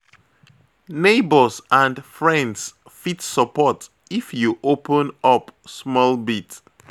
Neighbours and friends fit support if you open up small bit.